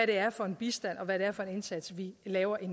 det er for en bistand og hvad det er for en indsats vi laver i